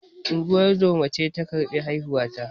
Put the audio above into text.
Ungozoma ce ta karbi haihuwa ta